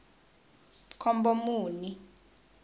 khombomuni